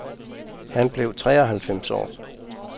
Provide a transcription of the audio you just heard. Han blev tre og halvfems år.